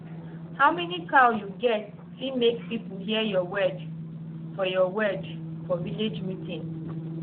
how many cow you get fit make people hear your word for your word for village meeting